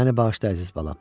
Məni bağışla, əziz balam.